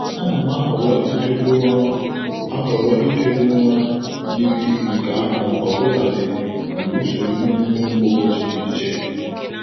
A na m ahọrọ idobe ụra ahọrọ idobe ụra yiri nke ahụ ọbụladị mgbe usoro iheomume m kwa ụbọchị dị iche.